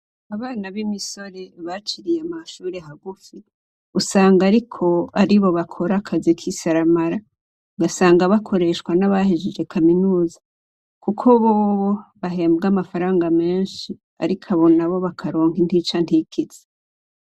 Abana b'imisore baciriye amashure hagufi, usanga ariko aribo bakora akazi k'isaramara. Ugasanga bakoreshwa n'abahejeje kaminuza kuko bobo bahembwa amafaranga menshi, ariko abo nabo bakaronka intica ntikize.